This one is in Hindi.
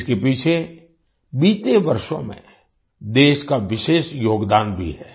इसके पीछे बीते वर्षों में देश का विशेष योगदान भी है